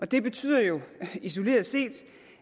det betyder jo isoleret set